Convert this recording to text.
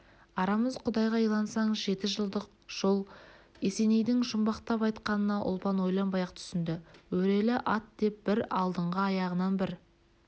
арамыз құдайға илансаң жеті жылдық жол есенейдің жұмбақтап айтқанына ұлпан ойланбай-ақ түсінді өрелі ат деп бір алдыңғы аяғынан бір